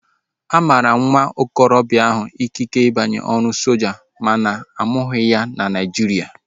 A mara nwa okorobịa ahu ikike ịbanye ọrụ soja makana amụghi na ya na Naijiria